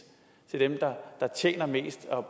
til dem der tjener mest og